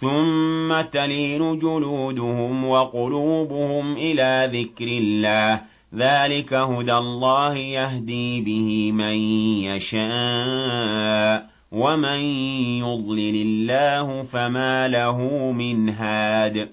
ثُمَّ تَلِينُ جُلُودُهُمْ وَقُلُوبُهُمْ إِلَىٰ ذِكْرِ اللَّهِ ۚ ذَٰلِكَ هُدَى اللَّهِ يَهْدِي بِهِ مَن يَشَاءُ ۚ وَمَن يُضْلِلِ اللَّهُ فَمَا لَهُ مِنْ هَادٍ